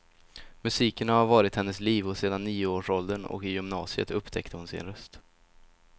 Musiken har varit hennes liv sedan nioårsåldern, och i gymnasiet upptäckte hon sin röst.